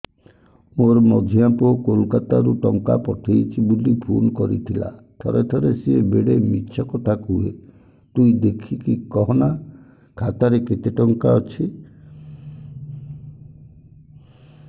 ମୋର ମଝିଆ ପୁଅ କୋଲକତା ରୁ ଟଙ୍କା ପଠେଇଚି ବୁଲି ଫୁନ କରିଥିଲା ଥରେ ଥରେ ସିଏ ବେଡେ ମିଛ କଥା କୁହେ ତୁଇ ଦେଖିକି କହନା ଖାତାରେ କେତ ଟଙ୍କା ଅଛି